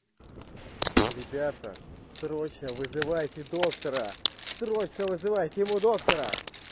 ребята срочно вызывайте доктора срочно вызывайте ему доктора